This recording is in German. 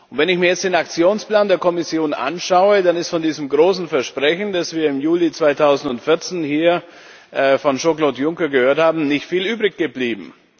Wenn ich mir jetzt den Aktionsplan der Kommission anschaue, dann ist von diesem großen Versprechen, das wir im Juli 2014 hier von Jean Claude Juncker gehört haben, nicht viel übrig geblieben.